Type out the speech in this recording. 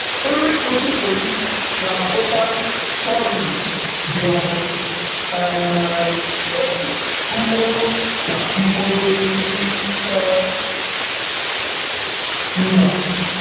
Nri ụtụtụ m na-abụkarị porridge dị ọkụ e ji mkpụrụ na mkpụrụ osisi chọọ mma.